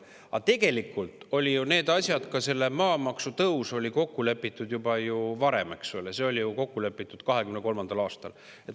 Tõsi on see, et tegelikult olid need asjad, ka maamaksu tõus, kokku lepitud juba varem, eks ole, see oli ju kokku lepitud 2023. aastal.